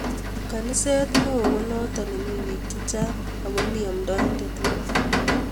Kaniset neo konoto ne mi biik chechang ako mi amndaindet neo